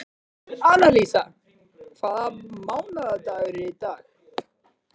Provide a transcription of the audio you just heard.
Annalísa, hvaða mánaðardagur er í dag?